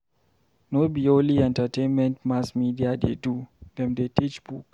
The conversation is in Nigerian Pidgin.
No be only entertainment mass media dey do, dem dey teach book.